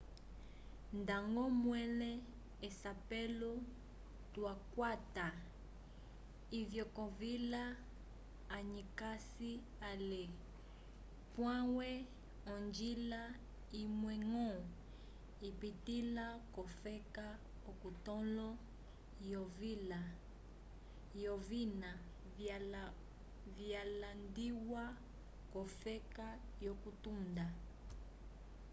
ndañgo mwẽle esapelo twakwata lyokwiñgila ayikasi ale pamwe onjila imwe-ñgo ipitĩla k'ofeka okontolo lyovina vyalandiwa k'ofeka yokutunda